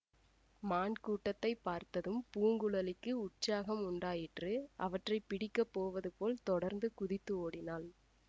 மான் கூட்டத்தை பார்த்ததும் பூங்குழலிக்கு உற்சாகம் உண்டாயிற்று அவற்றை பிடிக்கப் போவதுபோல் தொடர்ந்து குதித்து ஓடினாள்